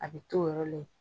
A be t'o yɔrɔla yen